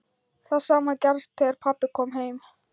Það sama gerðist þegar pabbi kom heim.